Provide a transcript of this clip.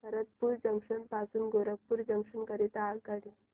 Bharatpur junction पासून Gorakhpur junction करीता आगगाडी